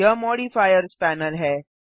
यह modifiers panel है